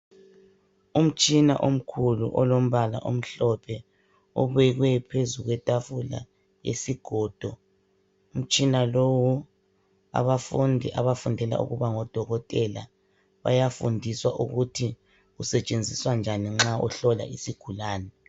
Umtshina omkhulu olombala omhlophe obekwe phezu kwetafula yesigodo. Umtshina lowu abafundi abafundela ukuba ngodokotela bayafundiswa ukuthi usetshenziswa njani nxa uhlola isigulani.